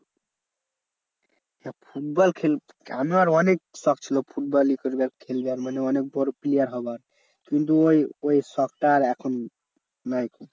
না ফুটবল খেলবো আমার অনেক শখ ছিল ফুটবল ই করবো খেলবো আর মানে অনেক বড় player হওয়ার। কিন্তু ওই ওই শখটা আর এখন নেই।